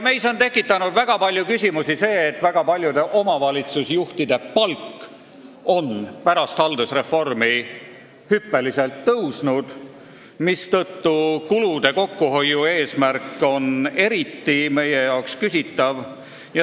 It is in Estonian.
Meis on tekitanud väga palju küsimusi see, et väga paljude omavalitsusjuhtide palk on pärast haldusreformi hüppeliselt tõusnud, mistõttu kulude kokkuhoiu eesmärgi täitmine on meie arvates eriti küsitav.